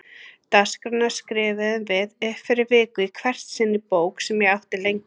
Dagskrána skrifuðum við upp fyrir viku í hvert sinn í bók sem ég átti lengi.